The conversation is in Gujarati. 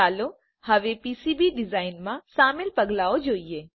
ચાલો હવે પીસીબી ડિઝાઇનમાં સામેલ પગલાંઓ જોઈએ